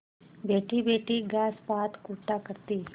बैठीबैठी घास पात कूटा करती